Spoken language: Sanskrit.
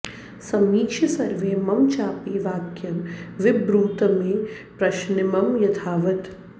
समीक्ष्य सर्वे मम चापि वाक्यं विब्रूत मे प्रश्नमिमं यथावत्